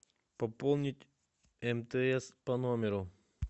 пополнить мтс по номеру